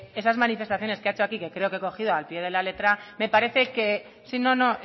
esas manifestaciones que ha hecho aquí que creo que he cogido al pie de la letra me parece que sí no no